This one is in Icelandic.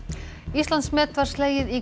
Íslandsmet var slegið í